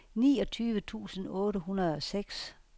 niogtyve tusind otte hundrede og seks